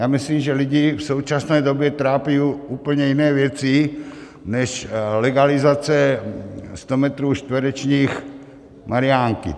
Já myslím, že lidi v současné době trápí úplně jiné věci než legalizace sto metrů čtverečních marjánky.